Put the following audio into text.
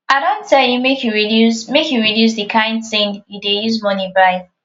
i don tell you make you reduce make you reduce the kyn thing you dey use money buy